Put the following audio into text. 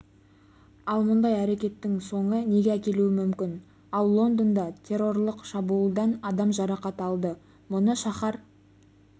ал мұндай әрекеттің соңы неге әкелуі мүмкін ал лондонда террорлық шабуылдан адам жарақат алды мұны шаһар